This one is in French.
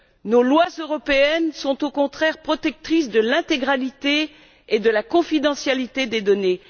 Nos lois européennes sont, au contraire, protectrices de l'intégrité et de la confidentialité des données.